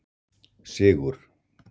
Sigur